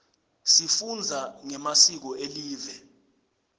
sifunza ngemasiko elive